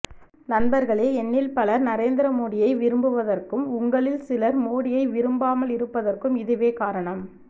நண்பர்களே என்னில் பலர் நரேந்திர மோடியை விரும்புவதற்கும் உங்களில் சிலர் மோடியை விரும்பாமல் இருப்பதற்கும் இதுவே காரணம்